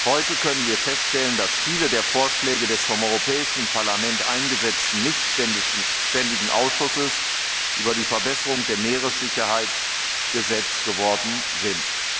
Heute können wir feststellen, dass viele der Vorschläge des vom Europäischen Parlament eingesetzten nichtständigen Ausschusses für die Verbesserung der Sicherheit auf See Gesetz geworden sind.